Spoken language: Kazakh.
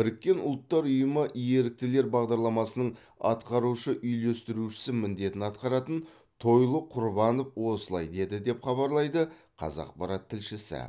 біріккен ұлттар ұйымы еріктілер бағдарламасының атқарушы үйлестірушісі міндетін атқаратын тойлы құрбанов осылай деді деп хабарлайды қазақпарат тілшісі